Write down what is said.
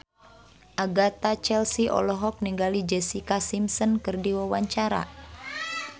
Agatha Chelsea olohok ningali Jessica Simpson keur diwawancara